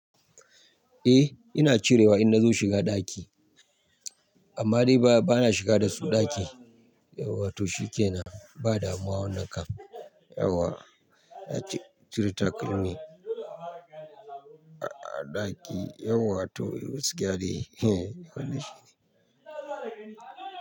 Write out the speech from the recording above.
Eh ina cirewa in na zo shiga ɗaki amma dai ba na shiga dasu ɗaki yauwa to shi ke na badamuwa wannan kam yauwa na cire takalmi a ɗaki yauwa to wasu gaskiya dai eh wani shi ne.